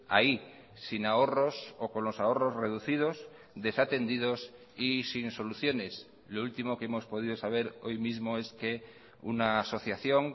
ahí sin ahorros o con los ahorros reducidos desatendidos y sin soluciones lo último que hemos podido saber hoy mismo es que una asociación